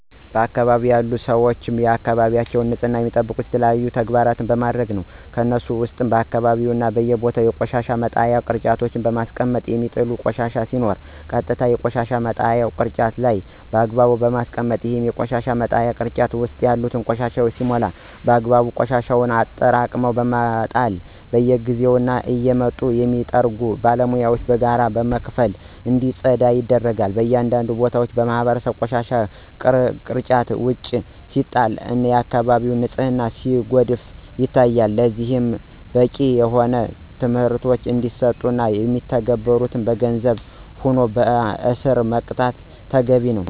በአካባቢያችን ያሉ ሰወች የአካባቢያቸውን ንፅህና የሚጠብቁት የተለያዩ ተግባራን በማድረግ ነው። ከነሱሞ ውስጥ በየአካባቢው እና በየቦታው የቆሻሻ መጣያ ቅርጫት በማስቀመጥ የሚጣል ቆሻሻ ሲኖር ቀጥታ የቆሻሻ መጣያው ቅርጫት ላይ በአግባቡ በማስቀመጥ፣ ይሄ የቆሻሻ መጣያ ቅርጫት ውስጥ ያለው ቆሻሻ ሲሞላ በአግባቡ ቆሻሻውን አጠራቅሞ በመጣል፣ በየጊዜው እየመጡ የሚጠርጉ ባለሙያወችን በጋራ በመክፈል እንዲፀዳ ያደርጋሉ። በአንዳንድ ቦታዎች ማህበረሰቡ ቆሻሻን ግርጫት ውጭ ሲጥል እና የአከባቢውን ንፅህና ሲያጎድፍ ይታያል። ለዚህም በቂ የሆነ ትምህርት እንዲሰጥ እና ማይተገብሩትን በገንዘብም ሆነ በእስር መቅጣት ተገቢ ነው።